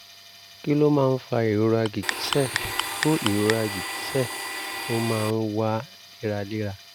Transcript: kí ló máa ń fa ìrora gìgísẹ̀ tó ìrora gìgísẹ̀ tó máa ń wá léraléra?